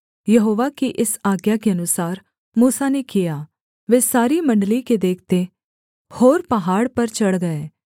यहोवा की इस आज्ञा के अनुसार मूसा ने किया वे सारी मण्डली के देखते होर पहाड़ पर चढ़ गए